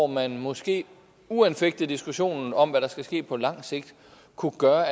man måske uanfægtet diskussionen om hvad der skal ske på lang sigt kunne gøre